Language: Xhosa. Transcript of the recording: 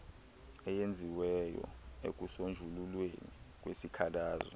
eyenziweyo ekusonjululweni kwesikhalazo